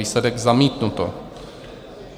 Výsledek: zamítnuto.